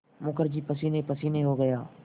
मुखर्जी पसीनेपसीने हो गया